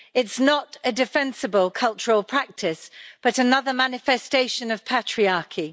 It's not a defensible cultural practice, but another manifestation of patriarchy.